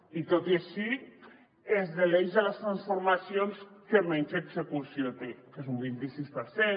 i tot i així és de l’eix de les transformacions que menys execució té que és un vint i sis per cent